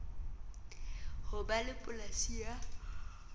ho ba le polasi ya